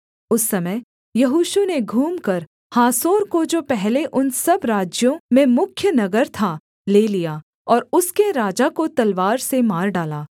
उस समय यहोशू ने घूमकर हासोर को जो पहले उन सब राज्यों में मुख्य नगर था ले लिया और उसके राजा को तलवार से मार डाला